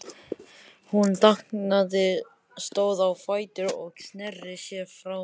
Hún þagnaði, stóð á fætur og sneri sér frá þeim.